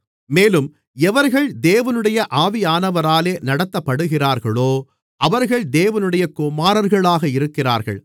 மேலும் எவர்கள் தேவனுடைய ஆவியானவராலே நடத்தப்படுகிறார்களோ அவர்கள் தேவனுடைய குமாரர்களாக இருக்கிறார்கள்